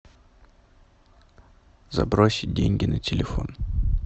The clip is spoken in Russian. забросить деньги на телефон